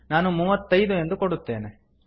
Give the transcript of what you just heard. ನಾನು ಮೂವತ್ತೈದು ಎಂದು ಕೊಡುತ್ತೇನೆ